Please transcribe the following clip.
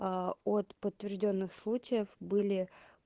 от подтверждённых случаев были